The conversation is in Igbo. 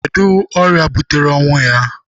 Kedụ ọrịa butere ọnwụ ya?